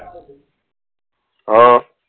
હા